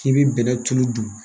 K'i bɛ bɛnɛ tulu dun